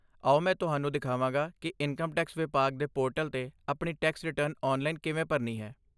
ਆਓ ਮੈਂ ਤੁਹਾਨੂੰ ਦਿਖਾਵਾਂਗਾ ਕਿ ਇਨਕਮ ਟੈਕਸ ਵਿਭਾਗ ਦੇ ਪੋਰਟਲ 'ਤੇ ਆਪਣੀ ਟੈਕਸ ਰਿਟਰਨ ਆਨਲਾਈਨ ਕਿਵੇਂ ਭਰਨੀ ਹੈ।